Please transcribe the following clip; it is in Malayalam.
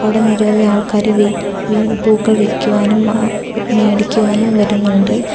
അവിടെ നിരവധി ആൾക്കാര് വി വി പൂക്കൾ വിക്കുവാനും ആ മേടിക്കുവാനും വരുന്നുണ്ട്.